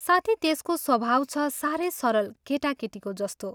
साथै त्यसको स्वभाव छ सारै सरल केटाकेटीको जस्तो।